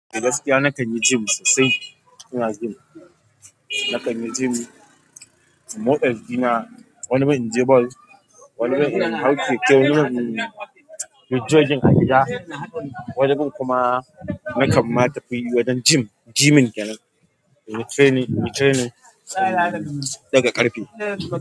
Gaskiya na kan yi gym sosai. Ina gym. Na kan yi gym. Motsa jikina, wani bin inje ball. Wani bin in hau keke. Wani bin. Inyi jogging a gida. Wani bin kuma na kamma tafi wajen gym. Gyming kenan inyi training, inyi training in daga ƙarfe.